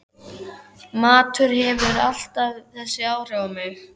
Matur hefur alltaf þessi áhrif á mig